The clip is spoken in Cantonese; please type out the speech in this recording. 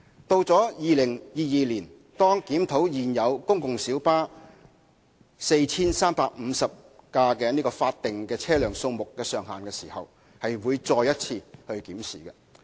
到2022年，當檢討現有公共小巴 4,350 輛法定車輛數目上限時，亦會再作一次檢視。